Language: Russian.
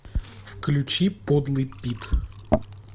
включи подлый пит